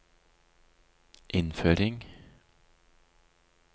innføring